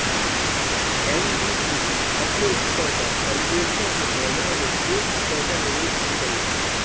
NBCC अपने स्तर पर परियोजना के निर्माण में एक भी पैसा निवेश नहीं करेगी